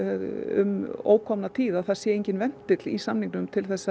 um ókomna tíð að það sé enginn ventill í samningnum til